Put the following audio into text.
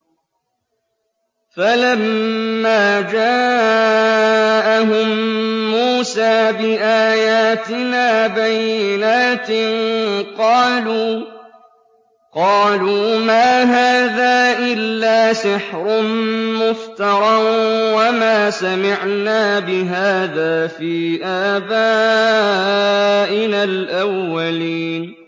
فَلَمَّا جَاءَهُم مُّوسَىٰ بِآيَاتِنَا بَيِّنَاتٍ قَالُوا مَا هَٰذَا إِلَّا سِحْرٌ مُّفْتَرًى وَمَا سَمِعْنَا بِهَٰذَا فِي آبَائِنَا الْأَوَّلِينَ